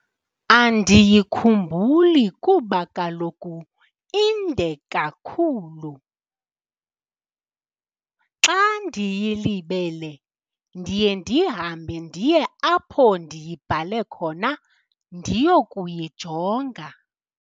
Andiyikhumbuli kuba kaloku inde kakhulu. Xa ndiyilibele ndiye ndihambe ndiye apho ndiyibhale khona ndiyokuyijonga.